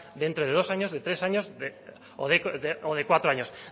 dentro de dos años de tres años o de cuatro años